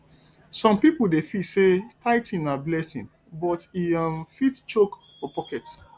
some people dey feel say tithing na blessing but e um fit choke for pocket